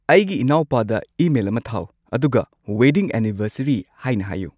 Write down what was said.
ꯑꯩꯒꯤ ꯏꯅꯥꯎꯄꯥꯗ ꯏꯃꯦꯜ ꯑꯃ ꯊꯥꯎ ꯑꯗꯨꯒ ꯋꯦꯗꯤꯡ ꯑꯦꯅꯤꯚꯔꯁꯔꯤ ꯍꯥꯏꯅ ꯍꯥꯏꯌꯨ